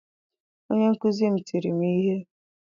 Onye nkuzi m tiri m ihe.